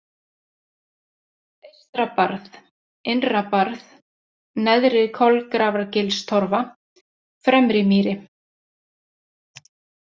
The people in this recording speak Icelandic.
Eystrabarð, Innrabarð, Neðri-Kolgrafargilstorfa, Fremrimýri